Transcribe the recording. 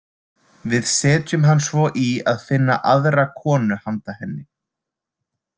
Við setjum hann svo í að finna aðra konu handa henni.